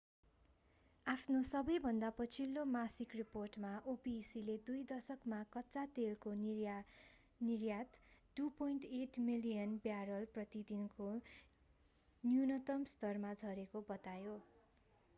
आफ्नो सबैभन्दा पछिल्लो मासिक रिपोर्टमा opec ले दुई दशकमा कच्चा तेलको निर्यात 2.8 मिलियन ब्यारल प्रति दिनको न्यूनतम स्तरमा झरेको बतायो